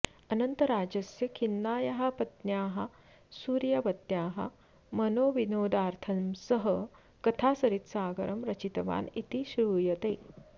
अनन्तराजस्य खिन्नायाः पत्न्याः सूर्यवत्याः मनोविनोदार्थं सः कथासरित्सागरं रचितवान् इति श्रूयते